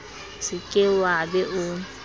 se ke wa be o